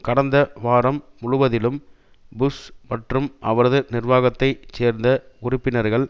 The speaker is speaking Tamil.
கடந்த வாரம் முழுவதிலும் புஷ் மற்றும் அவரது நிர்வாகத்தை சேர்ந்த உறுப்பினர்கள்